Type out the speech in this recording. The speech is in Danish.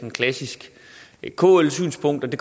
et klassisk kl synspunkt og det